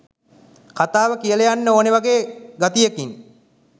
කතාව කියලා යන්න ඕනෙ වගේ ගතියකින්